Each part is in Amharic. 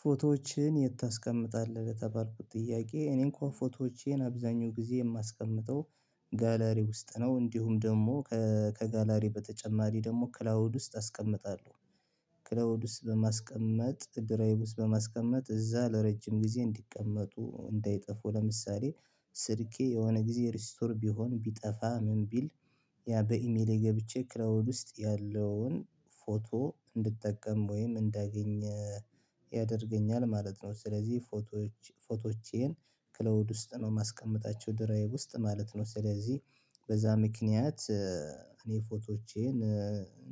ፎቶዎችን የት? ታስቀምጣለህ የተባልኩት ጥያቄ እኔ እንኳን ፎቶዎቼን አብዛኛው ጊዜ የማስቀምጠው ጋለሪ ውስጥ ነው እንዲሁም ደግሞ ከጋላሪ በተጨማሪ ደግሞ ክላውድ ውስጥ አስቀምጣለሁ። ክላውድ ውስጥ በማስቀመጥ ድራይቭ ውስጥ በማስቀመጥ እዛ ለረጅም ጊዜ እንዲቀመጡ እንዳይጠፉ ለምሳሌ ስልኬ የሆነ ጊዜ ሪስቶር ቢሆን ቢጠፋ ምን ቢል ያ በኢሜሌ ገብቼ ክላውድ ውስጥ ያለውን ፎቶ እንድጠቀም ወይም እንዳገኘ ያደርገኛል ማለት ነው። ስለዚህ ፎቶዎች ፎቶዎቼን ክላውድ ውስጥ ነው ማስቀመጣቸው ድራይቭ ውስጥ ማለት ነው። ስለዚህ በዛ ምክንያት እኔ ፎቶዎቼን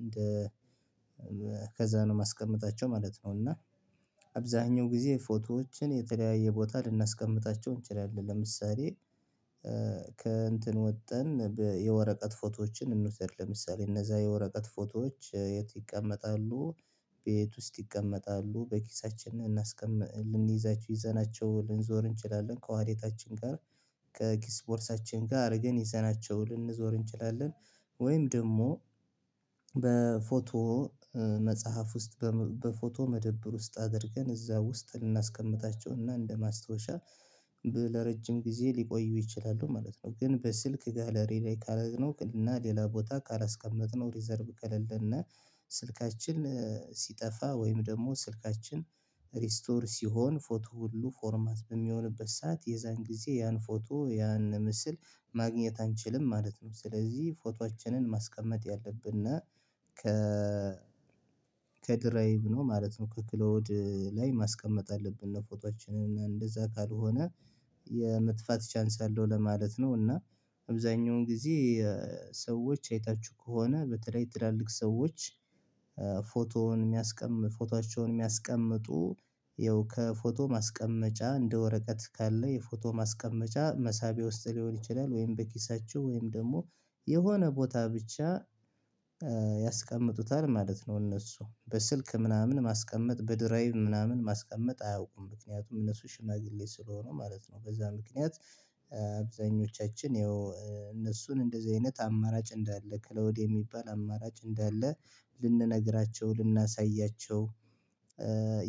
እንደ ከዛ ነው ማስቀመጣቸው ማለት ነው። እና አብዛኛው ጊዜ ፎቶዎችን የተለያየ ቦታ ልናስቀምጣቸው እንችላለን። ለምሳሌ ከእንትን ወጥተን የወረቀት ፎቶዎችን እንውሰድ ለምሳሌ እነዛ የወረቀት ፎቶዎች የት ይቀመጣሉ? ቤት ውስጥ ይቀመጣሉ በኪሳችን እናስቀምጥ ልንይዛችሁ ይዘናቸው ልንዞር እንችላለን ከዋሌታችን ጋር ከኪስ ቦርሳችን ጋ አርገን ይዘናቸው ልንዞር እንችላለን። ወይም ደግሞ በፎቶ መጽሐፍ ውስጥ በፎቶ መደብር ውስጥ አድርገን እዛ ውስጥ ልናስቀምጣቸውና እንደማስታወሻ ለረጅም ጊዜ ሊቆዩ ይችላሉ ማለት ነው። ግን በስልክ ጋለሪ ላይ ካረግነው እና ሌላ ቦታ ካላስቀመጥነው ሪዘርቭ ከሌለነ ስልካችን ሲጠፋ ወይም ደግሞ ስልካችን ሪስቶር ሲሆን ፎቶ ሁሉ ፎርማት በሚሆንበት ሰዓት የዛን ጊዜ ያን ፎቶ ያን ምስል ማግኘት አንችልም ማለት ነው። ስለዚህ ፎቶአችንን ማስቀመጥ ያለብነ ከ ከድራይቭ ነው ማለት ነው ከክላዉድ ላይ ማስቀመጥ አለብን እነ ፎቶአችንን እንደዛ ካልሆነ የመጥፋት ቻንስ አለው ለማለት ነው። እና አብዛኛውን ጊዜ ሰዎች አይታችሁ ከሆነ በተለይ ትላልቅ ሰዎች ፎቶዉን ፎቶቻውን የሚያስቀምጡ ፎቶአቸውን የሚያስቀምጡ ይኸው ከፎቶ ማስቀመጫ እንደ ወረቀት ካለ የፎቶ ማስቀመጫ መሳቢያ ውስጥ ሊሆን ይችላል ወይም በኪሳቸው ወይም ደግሞ የሆነ ቦታ ብቻ ያስቀምጡታል ማለት ነው። እነሱ በስልክ ምናምን ማስቀመጥ በድራይቭ ምናምን ማስቀመጥ አያውቁም ምክንያቱም እነሱ ሽማግሌ ስለሆኑ ማለት ነው። በዛ ምክንያት አብዛኞቻችን ይኸው እነሱን እንደዚህ አይነት አማራጭ እንዳለ ክላውድ የሚባል አማራጭ እንዳለ ልንነግራቸው ልናሳያቸው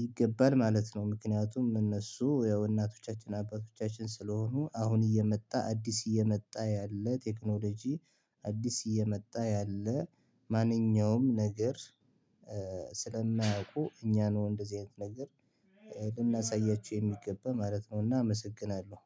ይገባል ማለት ነው። ምክንያቱም እነሱ ያው እናቶቻችን አባቶቻችን ስለሆኑ አሁን እየመጣ አዲስ እየመጣ ያለ ቴክኖሎጂ አዲስ እየመጣ ያለ ማንኛውም ነገር ስለማያውቁ እኛ ነው እንደዚህ አይነት ነገር ልናሳያችው የሚገባ ማለት ነውና አመሰግናለው